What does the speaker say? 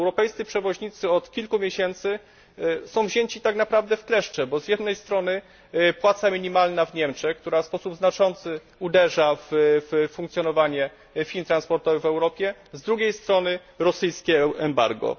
Europejscy przewoźnicy od kilku miesięcy są wzięci tak naprawdę w kleszcze, bo z jednej strony płaca minimalna w Niemczech, która w sposób znaczący uderza w funkcjonowanie firm transportowych w Europie, z drugiej strony rosyjskie embargo.